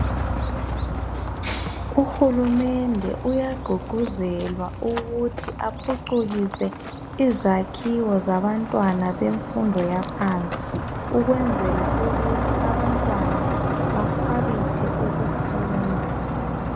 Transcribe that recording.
Uhulumende uyagqugquzelwa ukuthi aphucukise izakhiwo zabantwana bemfundo yaphansi , ukwenzela ukuthi abantwana bakhwabithe ukufunda.